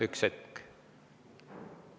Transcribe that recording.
Üks hetk.